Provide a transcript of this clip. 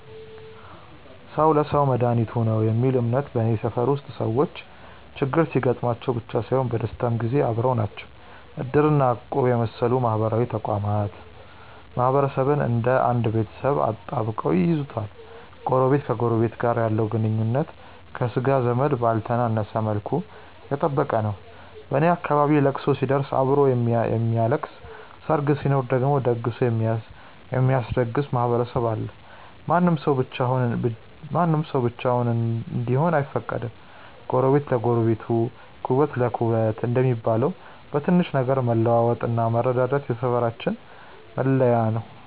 "ሰው ለሰው መድኃኒቱ ነው" የሚል እምነት በኔ ሰፈር ውስጥ ሰዎች ችግር ሲገጥማቸው ብቻ ሳይሆን በደስታም ጊዜ አብረው ናቸው። እድር እና እቁብ የመሰሉ ማህበራዊ ተቋማት ማህበረሰቡን እንደ አንድ ቤተሰብ አጣብቀው ይይዙታል። ጎረቤት ከጎረቤቱ ጋር ያለው ግንኙነት ከሥጋ ዘመድ ባልተነሰ መልኩ የጠበቀ ነው። በኔ አካባቢ ለቅሶ ሲደርስ አብሮ የሚያለቅስ፣ ሰርግ ሲኖር ደግሞ ደግሶ የሚያስደግስ ማህበረሰብ አለ። ማንም ሰው ብቻውን እንዲሆን አይፈቀድም። "ጎረቤት ለጎረቤት ኩበት ለኩበት" እንደሚባለው፣ በትንሽ ነገር መለዋወጥና መረዳዳት የሰፈራችን መለያ ነው።